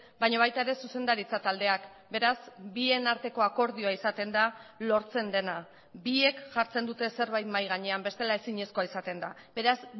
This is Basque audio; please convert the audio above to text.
baina baita ere zuzendaritza taldeak beraz bien arteko akordioa izaten da lortzen dena biek jartzen dute zerbait mahai gainean bestela ezinezkoa izaten da beraz